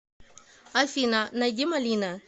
афина найди малина